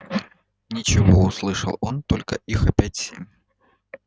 ничего услышал он только их опять семь